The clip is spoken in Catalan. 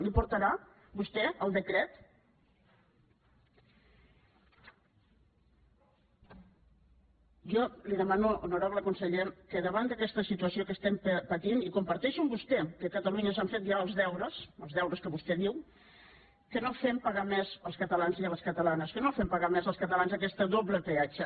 l’hi portarà vostè el decret jo li demano honorable conseller que davant d’ aquesta situació que patim i comparteixo amb vostè que a catalunya s’han fet ja els deures els deures que vostè diu no fem pagar més als catalans i les catalanes que no fem pagar més als catalans aquest doble peatge